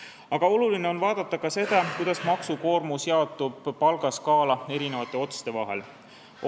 Aga oluline on vaadata ka seda, kuidas maksukoormus jaotub palgaskaala eri otste vahel.